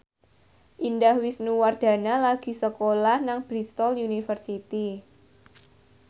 Indah Wisnuwardana lagi sekolah nang Bristol university